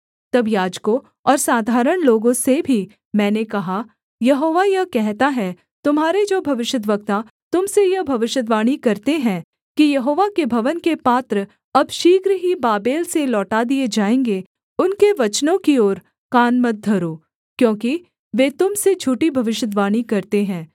तब याजकों और साधारण लोगों से भी मैंने कहा यहोवा यह कहता है तुम्हारे जो भविष्यद्वक्ता तुम से यह भविष्यद्वाणी करते हैं कि यहोवा के भवन के पात्र अब शीघ्र ही बाबेल से लौटा दिए जाएँगे उनके वचनों की ओर कान मत धरो क्योंकि वे तुम से झूठी भविष्यद्वाणी करते हैं